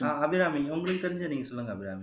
ஆஹ் அபிராமி உங்களுக்கு தெரிஞ்சதை நீங்க சொல்லுங்க அபிராமி